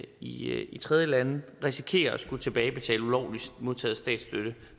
i i tredjelande risikerer at skulle tilbagebetale ulovligt modtaget statsstøtte